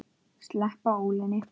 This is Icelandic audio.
Sleppa ólinni.